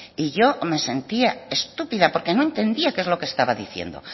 y yo me sentía estúpida porque no entendía qué es lo que estaba diciendo